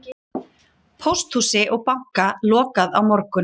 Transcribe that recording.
Pósthúsi og banka lokað á morgun